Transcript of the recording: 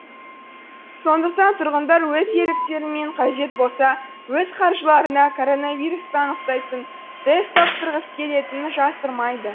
сондықтан тұрғындар өз еріктерімен қажет болса өз қаржыларына коронавирусты анықтайтын тест тапсырғысы келетінін жасырмайды